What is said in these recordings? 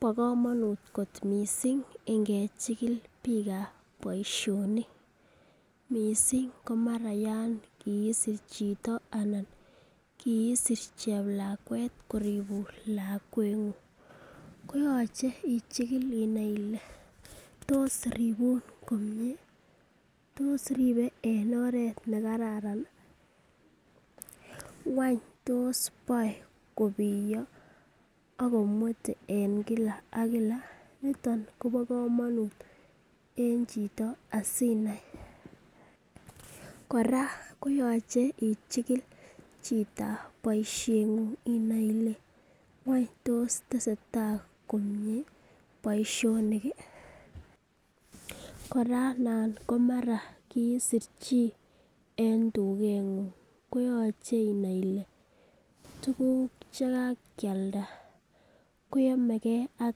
Bo komonut kot mising ingechikil biikab boisionik mising komara yan kiisir chito anan kiisir cheplakwet koribun lakweng'ung. Koyoche ichikil inae ile tos ribun komie? Tos ribe en oret ne karan ii? Wany tos boe kobiyo ago mwete en kila ak kila? Niton kobo komonut en chito asinai kora koyoche ichikil chito bosieng'ung inai ile ngwany tos tesetai komie boisionik ii? Kora nan ko mara kiisir chii en tugeng'ung, koyoche inai ile tuguk che kakealda ko yomege ak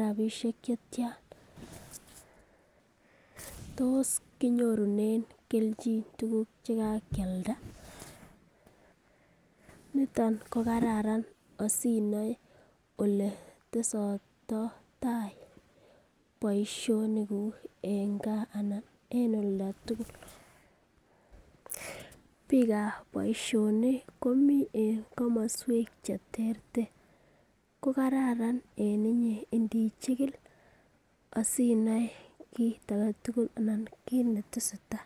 rabishek che tyan? Tos kinyorunen kelchin tuguk che kakealda? Niton ko kararan asinoe ole testoito tai boisionikuk en gaa anan en olda tugul. Biik ab boisionik komi en komoswek che terter. Ko kararan en inye indichikil asinoe kit age tugul anan kiit ne tesetai.